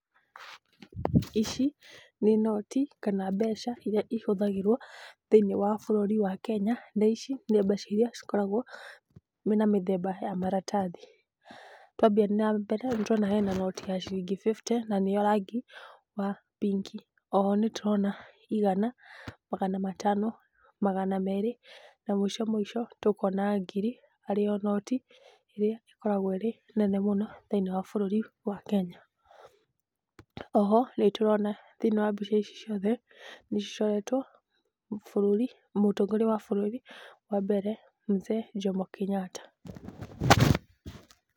Ici nĩ noti kana mbeca iria ihũthagĩrwo thĩinĩ wa bũrũri wa Kenya. Ici nĩ mbeca iria cikoragwo na mĩthemba ya maratathi. Twambia nambere, hena noti ya ciringi fifty, nĩ ya rangi wa pink. Oho nĩ tũrona igana, magana matato, magana merĩ na mũico mũico tũkona ngiri, ĩrĩa ĩkoragwo ĩnene mũno thĩinĩ wa bũrũri wa Kenya. Oho nĩ tũrona thĩinĩ wa mbica ici ciothe cicoretwo bũrũri, mũtongoria wa bũrũri wa mbere Mzee Jomo Kenyatta.